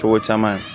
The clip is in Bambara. Cogo caman ye